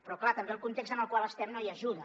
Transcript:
però és clar també el context en el qual estem no hi ajuda